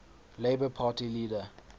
labour party leader